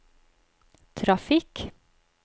trafikk